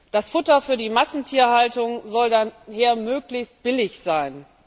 Das Futter für die Massentierhaltung soll daher möglichst billig sein.